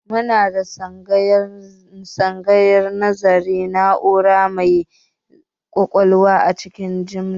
Muna da tsangayar nazarin na'ura mai ƙwaƙwalwa a cikin jami'a